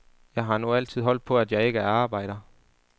Jeg har nu altid holdt på, at jeg ikke er arbejder.